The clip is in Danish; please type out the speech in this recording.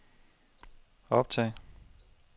optag